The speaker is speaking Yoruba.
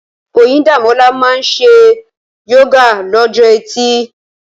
Oyindamola máa ń ṣe yoga lọ́jọ́ Ẹtì.